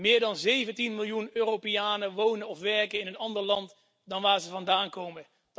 Meer dan 17 miljoen Europeanen wonen of werken in een ander land dan waar ze vandaan komen.